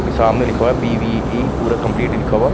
अभी सामने लिखा हुआ है पी_वी_ई पूरा कम्प्लीट नहीं लिखा हुआ।